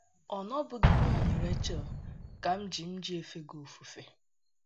Ọ́ na-ọbụghị n’ihi Rechel ka m ji m ji efe gị ofufe?